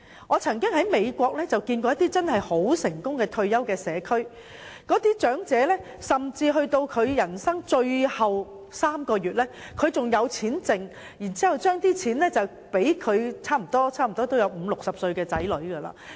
我曾在美國看到一些很成功的退休社區，當地長者甚至到了人生的最後3個月仍有餘錢，可以留贈已年屆半百甚至花甲的子女。